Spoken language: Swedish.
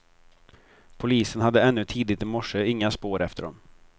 Polisen hade ännu tidigt i morse inga spår efter dem.